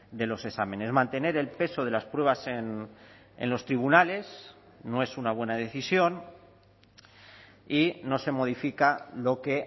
de los exámenes mantener el peso de las pruebas en los tribunales no es una buena decisión y no se modifica lo que